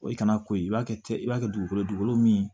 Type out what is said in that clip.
O ye kana ko i b'a kɛ ten i b'a kɛ dugukolo ye dugukolo dugukolo min